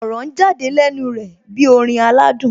Ọ̀rọ̀ ń jáde lẹ́nu rẹ̀ bí orin aládùn